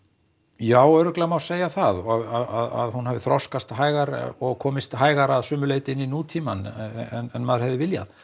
já örugglega má segja það að hún hafi þroskast hægar og komist hægar að sumu leyti inn í nútímann en maður hefði viljað